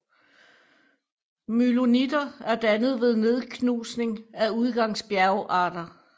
Myloniter er dannet ved nedknusning af udgangsbjergarter